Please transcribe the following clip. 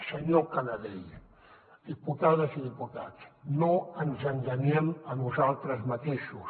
senyor canadell diputades i diputats no ens enganyem a nosaltres mateixos